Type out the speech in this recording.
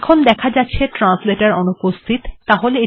এখন দেখা যাচ্ছে যে ট্রান্সলেটর অনুপস্থিত